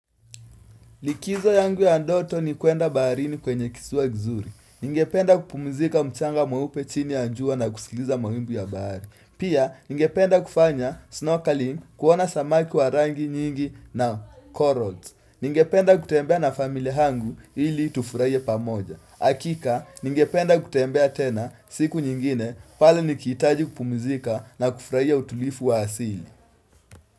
Likizo yangu ya ndoto ni kuenda baharini kwenye kisiwa kizuri. Ningependa kupumizika mchanga mweupe chini ya jua na kusikiliza mawimbi ya bahari. Pia, ningependa kufanya snorkeling, kuona samaki wa rangi nyingi na corals. Ningependa kutembea na familia yangu ili tufurahi pamoja. Hakika, ningependa kutembea tena siku nyingine pale nikihitaji kupumzika na kufurahia utulivu wa asili.